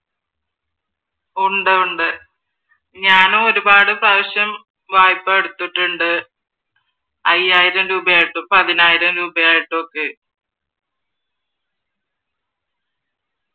ഉണ്ട് ഉണ്ട് ഞാനും ഒരുപാട് പ്രാവിശ്യം വായ്‌പ്പാ എടുത്തിട്ടുണ്ട് അയ്യായിരം രൂപ ആയിട്ടും പതിനായിരം രൂപാ ആയിട്ടും ഒക്കെ